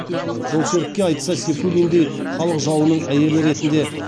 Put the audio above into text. жолсерікке айтса сейфуллиндей халық жауының әйелі ретінде